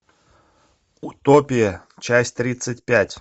утопия часть тридцать пять